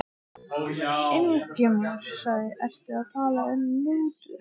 Ingimar: Ertu að tala um mútur?